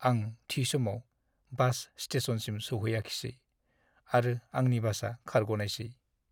आं थि समाव बास स्टेशनसिम सौहैयाखिसै आरो आंनि बासआ खारग'नायसै।